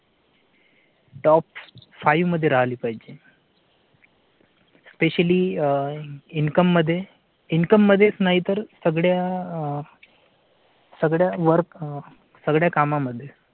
top five मध्ये राहिली पाहिजे specially income मध्येच नाही तर सगळ्या. सगळ्यां वर आह सगळ्या कामांमध्ये.